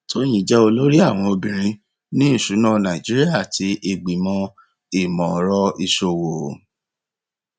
tóyìn jẹ olórí àwọn obìnrin ní ìṣúná nàìjíríà àti ìgbìmọ imọọrọ ìṣòwò